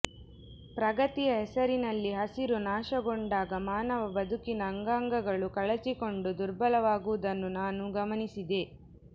ಪ್ರಗತಿಯ ಹೆಸರಿನಲ್ಲಿ ಹಸಿರು ನಾಶಗೊಂಡಾಗ ಮಾನವ ಬದುಕಿನ ಅಂಗಾಂಗಗಳು ಕಳಚಿಕೊಂಡು ದುರ್ಬಲವಾಗುವುದನ್ನು ನಾನು ಗಮನಿಸಿದೆ